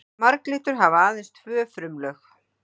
marglyttur hafa aðeins tvö frumulög